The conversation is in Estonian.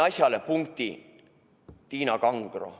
Asjale pani punkti Tiina Kangro.